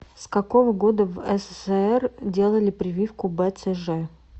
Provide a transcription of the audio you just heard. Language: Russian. с какого года в ссср делали прививку бцж